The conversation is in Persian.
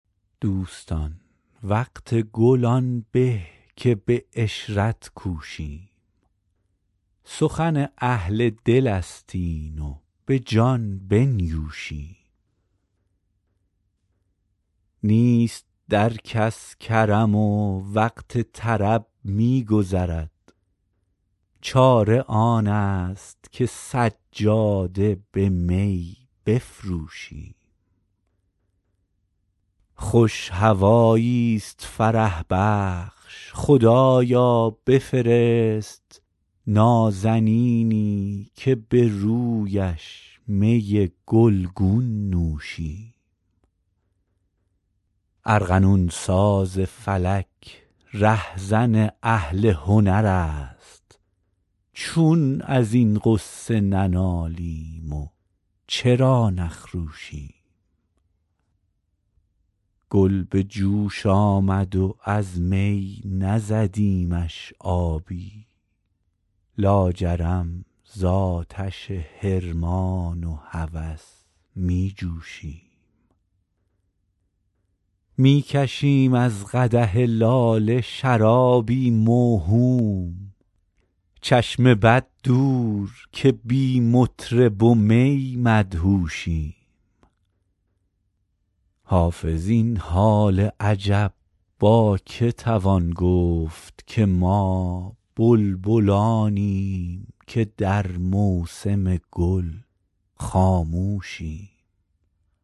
دوستان وقت گل آن به که به عشرت کوشیم سخن اهل دل است این و به جان بنیوشیم نیست در کس کرم و وقت طرب می گذرد چاره آن است که سجاده به می بفروشیم خوش هوایی ست فرح بخش خدایا بفرست نازنینی که به رویش می گل گون نوشیم ارغنون ساز فلک ره زن اهل هنر است چون از این غصه ننالیم و چرا نخروشیم گل به جوش آمد و از می نزدیمش آبی لاجرم زآتش حرمان و هوس می جوشیم می کشیم از قدح لاله شرابی موهوم چشم بد دور که بی مطرب و می مدهوشیم حافظ این حال عجب با که توان گفت که ما بلبلانیم که در موسم گل خاموشیم